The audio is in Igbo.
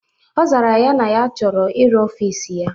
Ọ zara ya na ya chọrọ ịrụ ọfịs ọhụrụ